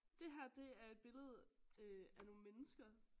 Det her det er et billede øh af nogle mennesker